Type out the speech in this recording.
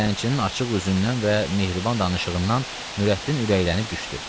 Dilənçinin açıq üzündən və mehriban danışığından Nurəddin ürəklənib düşdü.